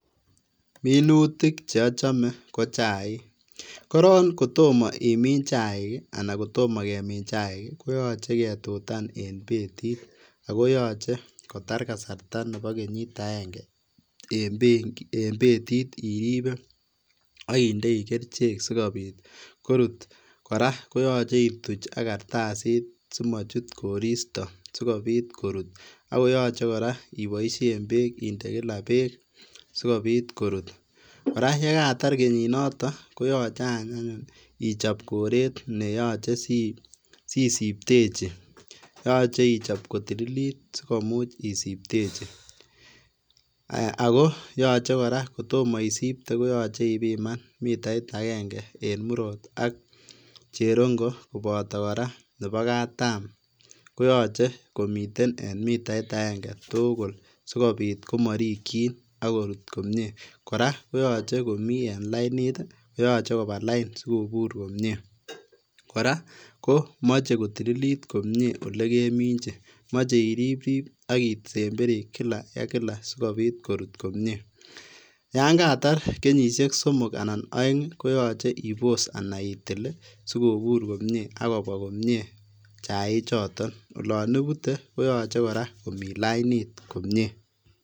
Minutik che ochome kochaik korong kotomo imin chaik anan kotomo kemin chaik ii koyoche ketutan en betit ako yoche kotar kasarta nebo kenyit agenge en betit iribe ak indoi kerichek sikorut koraa koyoche ituch ak kartasit simochut koristo sikobit korut akoyoche koraa iboisien beek indee kila sikobit korut , koraa yekatar kenyinoton koyoche ichop koret neyoche sisiptechi yoche ichop kotililit sikomuch isiptechi ,aya akoyoche koraa kotomoisipte koyoche ibiman mitait agenge en murot ak cherongo koboto koraa nebo katam koyoche komiten en mitait agenge tugul sikobit komorikjin ak korut komie, koraa koyoche komi en lainit, koyoche koba lain sikobur komie koraa komoche kotililit komie olekeminjin moche iriprip ak isemberi kila sikobit korut komie ,yon katar kenyisiek somok anan ko oeng koyoche ibos ana itil ii sikobur komie ak kobwa komie chaichoton olon ibute koyoche komi lain komie.